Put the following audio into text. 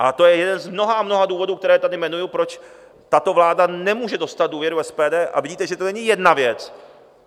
A to je jeden z mnoha a mnoha důvodů, které tady jmenuji, proč tato vláda nemůže dostat důvěru SPD, a vidíte, že to není jedna věc.